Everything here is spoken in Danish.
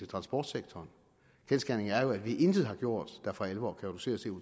transportsektoren kendsgerningen er jo at vi intet har gjort der for alvor kan reducere